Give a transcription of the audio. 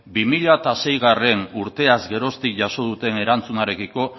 bi mila seigarrena urteaz geroztik jaso duten erantzunarekiko